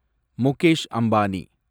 Mukesh Ambani